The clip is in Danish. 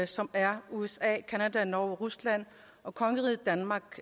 som er usa canada norge rusland og kongeriget danmark